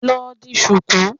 Lọ di ṣùkú.